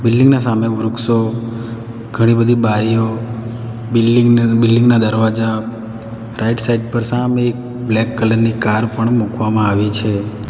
Building ના સામે વૃક્ષો ઘણી બધી બારીઓ બિલ્ડીંગ ની બિલ્ડીંગ ના દરવાજા રાઈટ સાઈડ પર સામે બ્લેક કલર ની કાર પણ મૂકવામાં આવી છે.